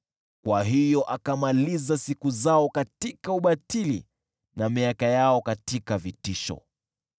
Kwa hiyo akamaliza siku zao katika ubatili na miaka yao katika vitisho.